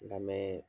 N lamɛn